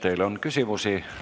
Teile on küsimusi.